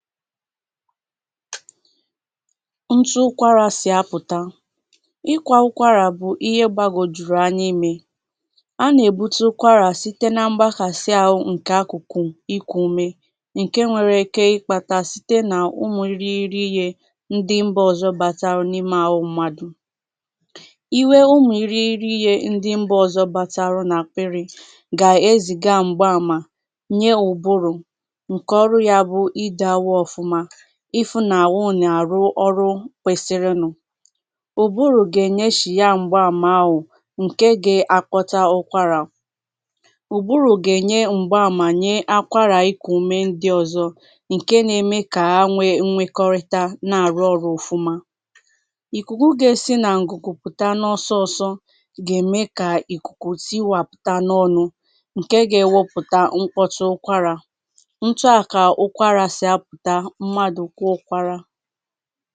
òtù ụkwarà sì apụ̀ta ịkwa ụkwarà bụ̀ ihe gbagòjùrù anya imē a nà- èbuta ụkwarà site nà mgbakàsi ahu ǹke akụ̀kụ̀ ikù umē ǹke nwere ike ịkpata site n’ụmụ̀ iriri ihe ndi mbà ọzọ bataru n’imē àhu mmadù iwē ụmụ̀ iriri ihe ndi mbà ọzọ bataru n’ àkpịrị gà-ezìga m̀gba àmà nye ụ̀bụrụ̀ ǹke ọrụ ya bụ̀ idō àhu ọfụma ifụ n’ àhu nà- àru ọrụ kwesirinu ụ̀bụrụ̀ gà- ènyeshìa m̀gba àmà ahù ǹke ga- akpọcha ụkwarà ụ̀bụrụ̀ gà- ènye m̀gba àmà, nye akwarà ikù umē ndi ọzọ ǹke nà-eme kà ha nwe nwekorita na-àru ọrụ òfúmá ìkùkù gà-esi nà ǹgùgù pụ̀ta nụ ọsọsọ gà-ème kà ìkùkù siwàpụ̀ta n’ọnụ̄ ǹke gá-ewepùta nkwọcha ụkwarà ò tuà kà ụkwarà sì apụ̀ta mmadù kwa ụkwarà